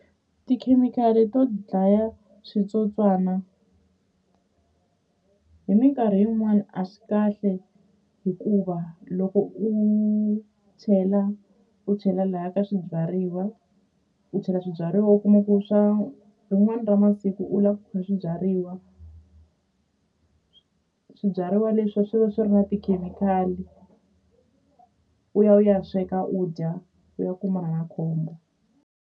Tikhemikhali to dlaya switsotswana hi minkarhi yin'wani a swi kahle hikuva loko u chela u chela laya ka swibyariwa u chela swibyariwa u kuma ku swa rin'wani ra masiku u la ku kha swibyariwa swibyariwa leswiwa swi va swi ri na tikhemikhali u ya u ya sweka u dya u ya kumana na khombo.